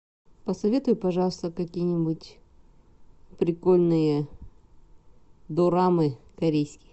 посоветуй пожалуйста какие нибудь прикольные дорамы корейские